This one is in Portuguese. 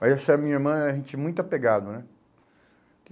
Mas essa minha irmã a gente é muito apegado, né?